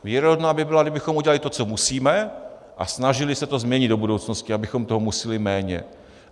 Věrohodná by byla, kdybychom udělali to, co musíme, a snažili se to změnit do budoucnosti, abychom toho museli méně.